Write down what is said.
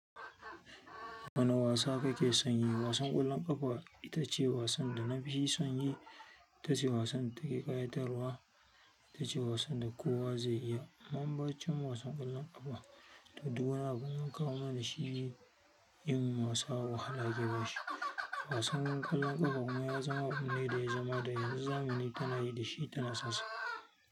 Wane wasa kake son yi? Wasan ƙwallon ƙafa ita ce wasan da na fi son yi. Itace wasan da take ƙayatarwa. Ita ce wasan da kowa zai iya. Bayancin wasan ƙwallon ƙafa, to duk wani in an kawo mana shi yin wasa, wahala ake bashi. Wasan ƙwallon ƙafa kuma ya zama abu ne da ya zama da yanzu zamani tana yi dashi kuma tana sonsa.